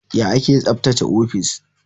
Ya ake tsaftace ofis?